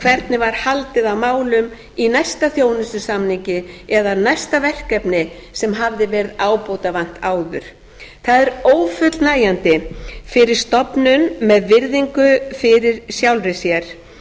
hvernig var haldið á málum í næsta þjónustusamningi eða næsta verkefni sem hafði verið ábótavant áður það er ófullnægjandi með stofnun með virðingu fyrir sjálfri sér